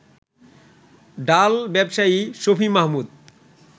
ডাল ব্যবসায়ী শফি মাহমুদ